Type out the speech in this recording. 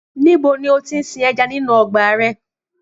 Níbo ni ó ti ń sin ẹja nínú ọgbà rẹ?